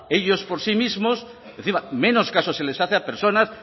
ellos por sí mismos encima menos caso se les hace a personas